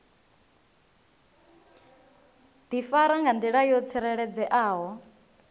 difara nga ndila yo tsireledzeaho